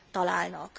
találnak.